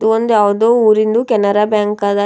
ಇದು ಒಂದ್ ಯಾವುದೋ ಊರಿಂದು ಕೆನರಾ ಬ್ಯಾಂಕ್ ಅದ ಇಲ್--